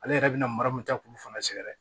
Ale yɛrɛ bina mara mun ta k'olu fana sɛgɛrɛ